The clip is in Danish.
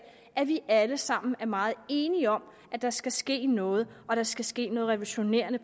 at vi alle sammen er meget enige om at der skal ske noget og at der skal ske noget revolutionerende